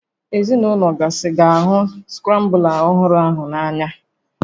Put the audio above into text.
Ezinaụlọ gasị ga-ahụ skrambla ọhụrụ ahụ n'anya